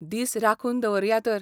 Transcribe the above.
दीस राखून दवरया तर.